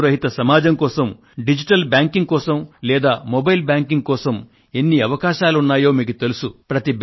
నగదు రహిత సమాజం కోసం డిజిటల్ బ్యాంకింగ్ కోసం లేదా మొబైల్ బ్యాంకింగ్ కోసం ఎన్ని అవకాశాలు ఉన్నాయో మీకు తెలుసు